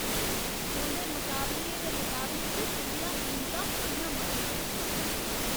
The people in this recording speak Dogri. तुं'दे मकाबलियें दे मकाबले च तुं'दियां कीमतां बड़ियां मतियां न।